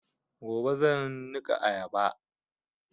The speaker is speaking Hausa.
Gobe zan niƙa ayaba